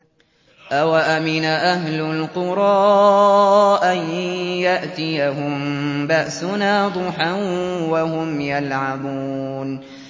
أَوَأَمِنَ أَهْلُ الْقُرَىٰ أَن يَأْتِيَهُم بَأْسُنَا ضُحًى وَهُمْ يَلْعَبُونَ